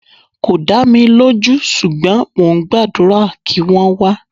Kò dá mi lójú ṣùgbọ́n mo gbàdúrà kí wọ́n wá.